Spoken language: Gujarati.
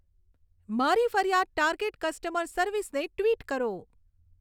મારી ફરિયાદ ટાર્ગેટ કસ્ટમર સર્વિસને ટ્વિટ કરો